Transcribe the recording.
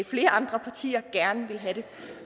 flere andre partier gerne ville have det